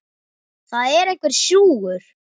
Það er einhver súgur.